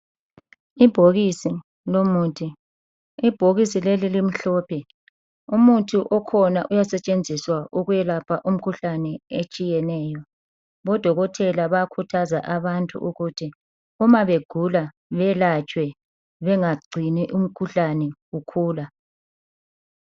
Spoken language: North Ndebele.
Ibhokisi lomuthi, Ibhokisi leli limhlophe. Umuthi okhona uyasetshenziswa ukwelapha umkhuhlane etshiyeneyo. Odokotela bayakhuthaza abantu ukuthi uma begula beyelatshwe bengagcini umkhuhlane ukhula.